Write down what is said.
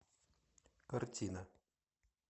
картина